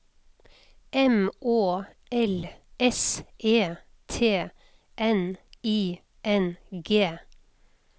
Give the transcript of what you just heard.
M Å L S E T N I N G